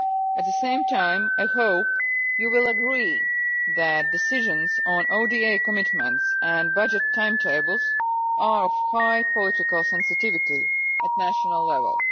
At the same time, I hope you will agree that decisions on ODA commitments and budget timetables are of high political sensitivity at national level.